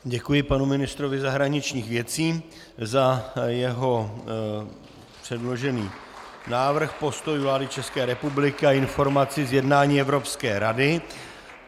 Děkuji panu ministrovi zahraničních věcí za jeho předložený návrh postojů vlády České republiky a informaci z jednání evropské rady.